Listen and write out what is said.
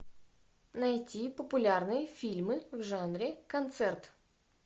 найти популярные фильмы в жанре концерт